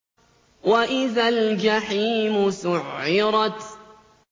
وَإِذَا الْجَحِيمُ سُعِّرَتْ